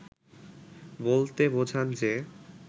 বলতে বোঝান যে